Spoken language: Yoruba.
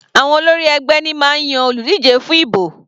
Àwọn olórí ẹgbẹ́ ní máa ń yan olùdíje fún ibò.